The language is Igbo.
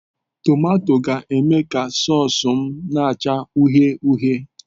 Tomato ga-eme ka sause m na-acha uhie uhie.